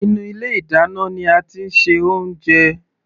Inú ilé ìdáná ní a tí ń ṣe oúnjẹ.